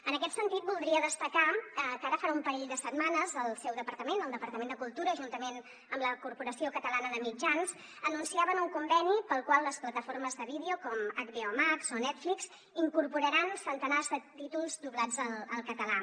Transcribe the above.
en aquest sentit voldria destacar que ara farà un parell de setmanes el seu departament el departament de cultura juntament amb la corporació catalana de mitjans anunciaven un conveni pel qual les plataformes de vídeo com hbo max o netflix incorporaran centenars de títols doblats al català